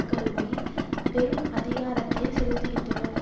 கருவில் பெரும் அதிகாரத்தைச் செலுத்துகின்றனர்